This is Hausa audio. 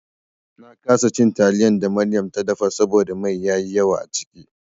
Na kasa cin taliyan da Maryam ta dafa saboda mai yayi yawa a ciki.